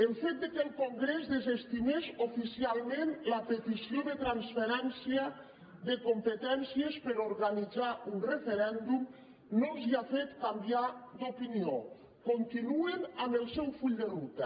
el fet que el congrés desestimés oficialment la petició de transferència de competències per a organitzar un referèndum no els ha fet canviar d’opinió continuen amb el seu full de ruta